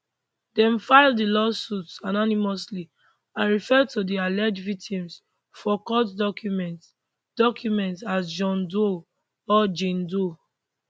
dem file di lawsuits anonymously and refer to di alleged victims for court documents documents as john doe or jane doe